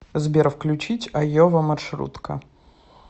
сбер включить айова маршрутка